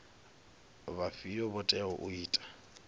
vhafhio vho teaho u ita